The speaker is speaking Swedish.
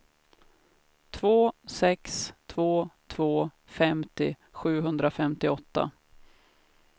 två sex två två femtio sjuhundrafemtioåtta